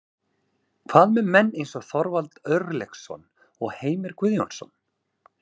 Hvað með menn eins og Þorvald Örlygsson og Heimir Guðjónsson?